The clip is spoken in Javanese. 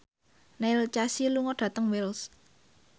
Neil Casey lunga dhateng Wells